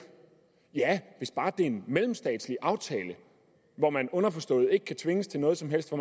ja hvis bare det en mellemstatslig aftale hvor man underforstået ikke kan tvinges til noget som helst og